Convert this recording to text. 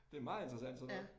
Det meget interessant sådan noget